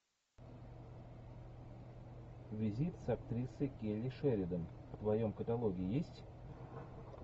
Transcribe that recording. визит с актрисой келли шеридан в твоем каталоге есть